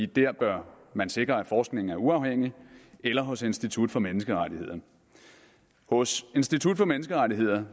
der bør man sikre at forskningen er uafhængig eller hos institut for menneskerettigheder hos institut for menneskerettigheder